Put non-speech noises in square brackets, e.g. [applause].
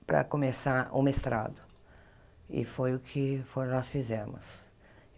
para começar o mestrado e foi o que [unintelligible] nós fizemos.